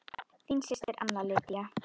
Þín systir Anna Lydía.